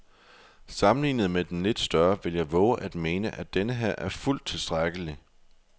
Sammenlignet med den lidt større vil jeg vove at mene, at denneher er fuldt tilstrækkelig.